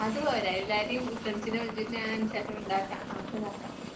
അതു പോരേ, എല്ലാവരെയും ഉത്സവത്തിന് വിളിച്ചിട്ട് ഞാൻ